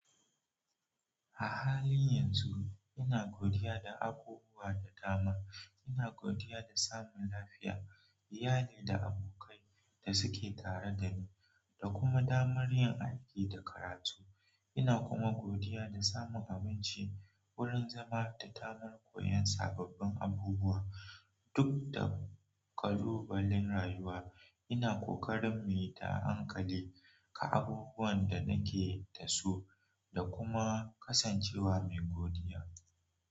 A halin yanzu ina godiya da abubuwa da dama. Ina godiya da samun lafiya, iyali da abokai da suke tare da ni da kuma damar yin aiki da karatu. Ina kuma godiya da samun aminci, wurin zama da damar koyon sababbin abubuwa. Duk da ƙalubalen rayuwa ina ƙokarin muyita a hankali ka abubuwan da nake dasu da kuma kasancewa me godiya.